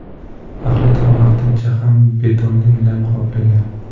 Axlat ham vaqtincha, ham betonli uylarni qoplagan.